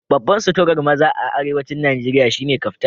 Babban suturar maza a Arewacin Najeriya shine Kaftan